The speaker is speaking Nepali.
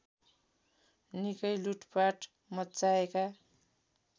निकै लुटपाट मच्चाएका